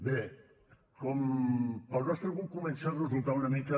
bé pel nostre grup comença a resultar una mica